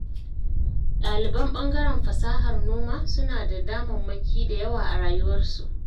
Ɗaliban ɓangaren fasahar noma, suna da damammaki da yawa a rayuwarsu.